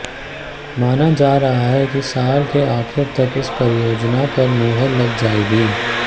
माना जा रहा है कि साल के आखिर तक इस परियोजना पर मुहर लग जाएगी